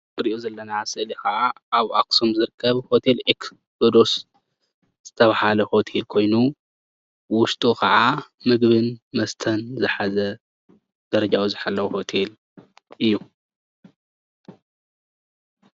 እዚ እንሪኦ ዘለና ስእሊ ከዓ ኣብ ኣክሱም ዝርከብ ሆቴል ኤክሶዴስ ዝተባሃለ ሆቴል ኮይኑ ውሽጡ ከዓ ምግብን መስተን ዝሓዘ ደረጅኡ ዝሓለወ ሆቴል እዩ፡፡